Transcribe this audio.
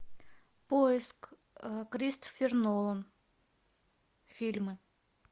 поиск кристофер нолан фильмы